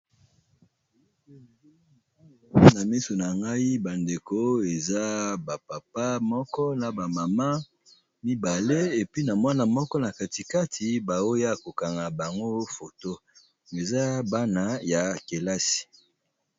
Awa na miso nangai bandeko eza ba papa moko na ba maman mibale puis Mwana moko na katikati ba oya KO kanga bango photo eza Bana ya kilasi.